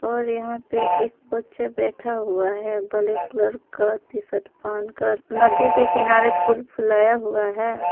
और यहां पे एक बच्चा बैठा हुआ है ब्लैक कलर का टी शर्ट पहनकर नदी के किनारे फूल फुलाया हुआ है।